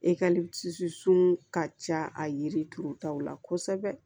sun ka ca a yiri turutaw la kosɛbɛ